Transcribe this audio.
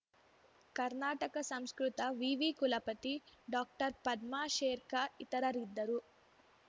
ಕರ್ನಾಟಕ ಸಂಸ್ಕೃತ ವಿವಿ ಕುಲಪತಿ ಡಾಕ್ಟರ್ಪದ್ಮಾಶೇಖರ್‌ ಇತರರಿದ್ದರು